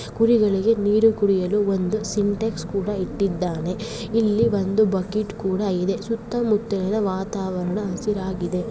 ಕುರಿಗಳಿಗೆ ನೀರು ಕುಡಿಯಲು ಒಂದು ಸಿನಟೆಕ್ಸ ಕೂಡ ಇಟ್ಟಿದ್ದಾನೆ ಇಲ್ಲಿ ಒಂದು ಬಕೆಟ್ ಕೂಡ ಇದೆ ಸುತ್ತ ಮುತ್ತೆಯ ವಾತಾವರಣ ಹಸಿರಾಗಿದೆ.